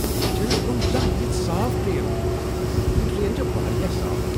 مےٚ چھنہٕ برونہہ زانٛہہ یِژھ صاف ٹرین وٗچھمٕژ ! یہ ٹرین چھےٚ واریاہ صاف۔